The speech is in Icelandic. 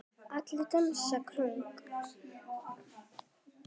Allir dansa kónga